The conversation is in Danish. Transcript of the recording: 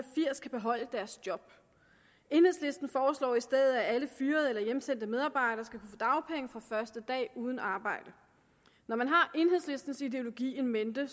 firs kan beholde deres job enhedslisten foreslår i stedet at alle fyrede eller hjemsendte medarbejdere skal kunne få dagpenge fra første dag uden arbejde når man har enhedslistens ideologi in mente